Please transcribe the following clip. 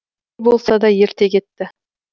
не болса да ерте кетті